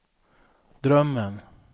drömmen